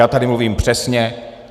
Já tady mluvím přesně.